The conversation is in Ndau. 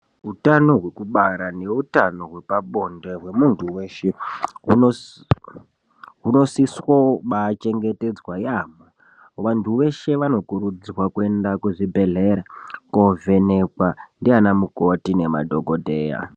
Hutano hwekubara nehutano hwepabonde hwemuntu weshe hunosisa kubachengetedzwa yambo vantu veshe vanokurudzirwa kuendeswa kuzvibhedhlera kovhenekwa ndivana mikoti nemadhokodheya.